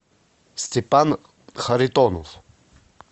степан харитонов